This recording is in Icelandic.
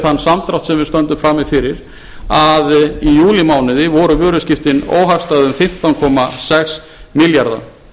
þann samdrátt sem við stöndum frammi fyrir að í júlímánuði voru vöruskiptin óhagstæð um fimmtán komma sex milljarða